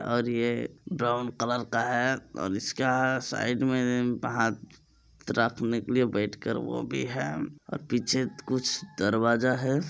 और ये brown colour का है। और इसका साइड मे प हाथ रखने के लिए बैठ कर वो भी है। और पीछे कुछ दरवाजा है।